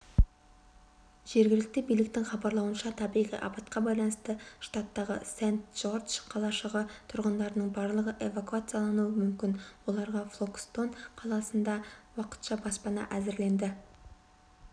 жергілікті биліктің хабарлауынша табиғи апатқа байланысты штаттағы сент-джордж қалашығы тұрғындарының барлығы эвакуациялануы мүмкін оларға фолкстон қаласында уақытша баспана әзірленді